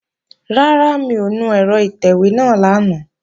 Rárá, mi ò nu ẹ̀rọ ìtẹ̀wé náà lánàá